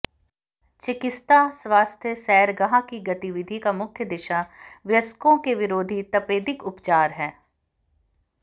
चिकित्सा स्वास्थ्य सैरगाह की गतिविधि का मुख्य दिशा वयस्कों के विरोधी तपेदिक उपचार है